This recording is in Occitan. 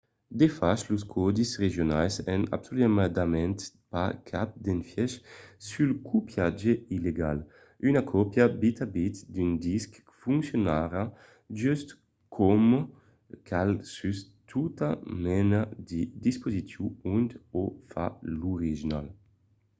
de fach los còdis regionals an absoludament pas cap d'efièch sul copiatge illegal; una còpia bit a bit d'un disc foncionarà just coma cal sus tota mena de dispositiu ont o fa l'original